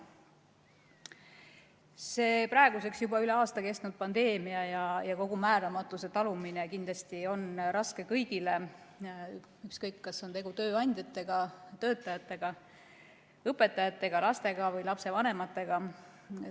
See praeguseks juba üle aasta kestnud pandeemia ja kogu määramatuse talumine on kindlasti raske kõigile, ükskõik, kas on tegu tööandjatega, töötajatega, õpetajatega, lastega või lapsevanematega.